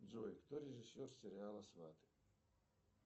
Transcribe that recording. джой кто режиссер сериала сваты